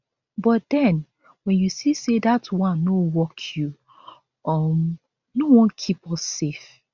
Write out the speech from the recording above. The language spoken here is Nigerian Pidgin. but den wen you see say dat one no work you um no wan keep us safe